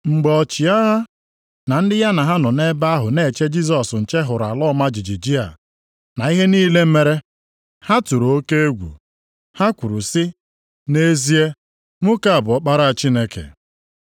Mgbe ọchịagha, na ndị ya ha nọ nʼebe ahụ na-eche Jisọs nche hụrụ ala ọma jijiji a, na ihe niile mere, ha tụrụ oke egwu. Ha kwuru sị, “Nʼezie, nwoke a bụ Ọkpara Chineke!”